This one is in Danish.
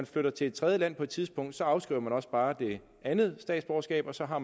flytter til et tredje land på et tidspunkt afskriver jeg også bare det andet statsborgerskab og så har